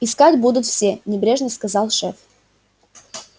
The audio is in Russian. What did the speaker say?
искать будут все небрежно сказал шеф